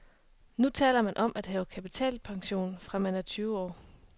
Nu taler man om at have kapitalpension, fra man er tyve år.